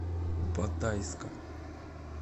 батайска